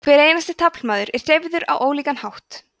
hver einasti taflmaður er hreyfður á ólíkan hátt